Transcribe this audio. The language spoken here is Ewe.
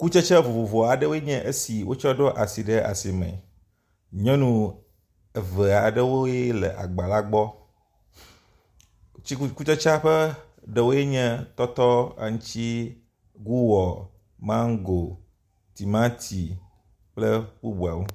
Kutsetse vovovo aɖewoe nye esi wotsɔ ɖo asi le asime. Nyɔnu eve aɖewoe le agba la gbɔ, kutsetse ƒe ɖewoe nye tɔtɔ, aŋuti, guwɔ, mango timati kple bubuawo.